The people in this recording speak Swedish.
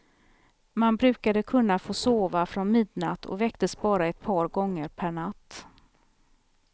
Man brukade kunna få sova från midnatt och väcktes bara ett par gånger per natt.